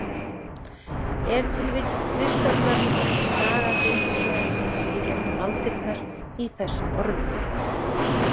Ef til vill kristallast saga Geysissvæðisins í gegnum aldirnar í þessum orðum.